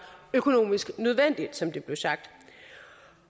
økonomisk nødvendigt som det blev sagt